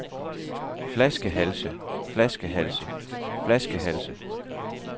flaskehalse flaskehalse flaskehalse